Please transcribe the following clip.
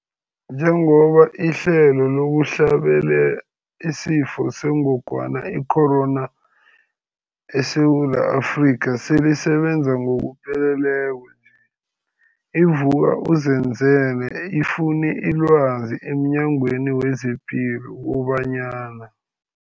Njengoba ihlelo lokuhlabela isiFo sengogwana i-Corona, i-COVID-19, eSewula Afrika selisebenza ngokupheleleko nje, i-Vuk'uzenzele ifune ilwazi emNyangweni wezePilo kobanyana.